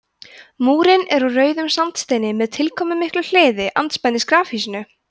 múrinn er úr rauðum sandsteini með tilkomumiklu hliði andspænis grafhýsinu